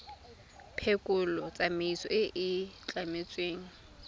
phekolo tsamaiso e e tlametsweng